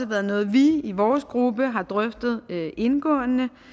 været noget vi i vores gruppe har drøftet indgående